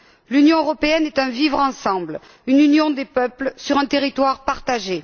L'Union européenne est un vivre ensemble, une union des peuples sur un territoire partagé.